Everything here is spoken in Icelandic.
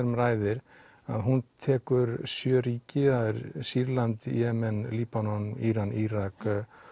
um ræðir hún tekur sjö ríki Sýrland Jemen Líbanon Íran Írak